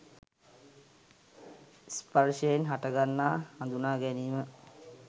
ස්පර්ශයෙන් හටගන්නා හඳුනාගැනීම